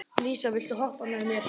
Lísa, viltu hoppa með mér?